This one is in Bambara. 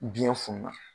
Biyɛn fununna